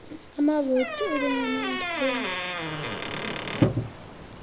amavoti elingana ondabeni